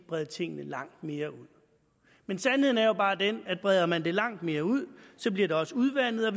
brede tingene langt mere ud men sandheden er jo bare den at breder man det langt mere ud bliver det også udvandet